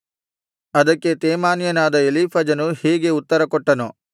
ಅದಕ್ಕೆ ತೇಮಾನ್ಯನಾದ ಎಲೀಫಜನು ಹೀಗೆ ಉತ್ತರಕೊಟ್ಟನು